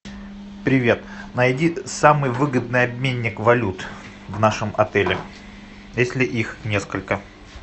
привет найди самый выгодный обменник валют в нашем отеле если их несколько